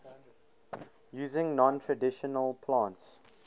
using non traditional plants